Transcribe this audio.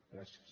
gràcies